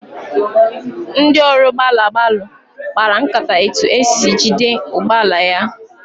Ndị ọrụ gbalụ gbalụ kpara nkata etu esi jide ụgbọala ya.